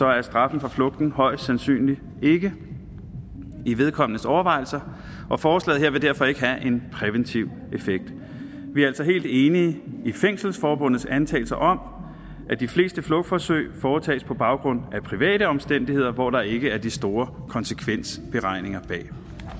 er straffen for flugten højst sandsynligt ikke i vedkommendes overvejelser og forslaget her vil derfor ikke have en præventiv effekt vi er altså helt enige i fængselsforbundets antagelse om at de fleste flugtforsøg foretages på baggrund af private omstændigheder hvor der ikke er de store konsekvensberegninger bag i